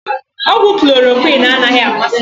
Ọgwụ chlọrọquin anaghị amasị m.